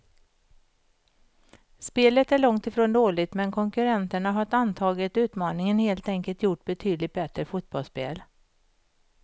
Spelet är långt ifrån dåligt, men konkurrenterna har antagit utmaningen och helt enkelt gjort betydligt bättre fotbollsspel.